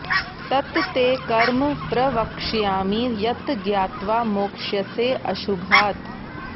तत् ते कर्म प्रवक्ष्यामि यत् ज्ञात्वा मोक्ष्यसे अशुभात्